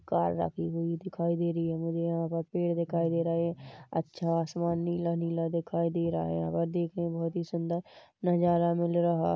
Car रखी हुई दिखाई दे रही है मझे यहाँ पर पेड़ दिखाई दे रहे हैं अच्छा आसमान नीला-नीला दिखाई दे रहा है और देखने में बहुत ही सुंदर नजारा मिल रहा है।